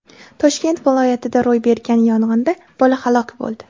Toshkent viloyatida ro‘y bergan yong‘inda bola halok bo‘ldi.